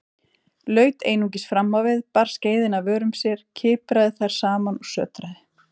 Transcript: Laut einungis framávið, bar skeiðina að vörum sér, kipraði þær saman og sötraði.